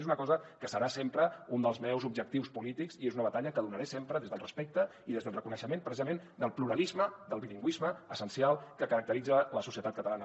és una cosa que serà sempre un dels meus objectius polítics i és una batalla que donaré sempre des del respecte i des del reconeixement precisament del pluralisme del bilingüisme essencial que caracteritza la societat catalana